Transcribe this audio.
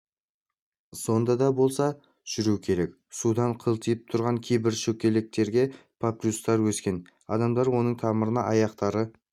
сонда да болса жүру керек судан қылтиып тұрған кейбір шөкелектерге папирустар өскен адамдар оның тамырына аяқтары